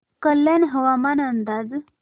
कल्याण हवामान अंदाज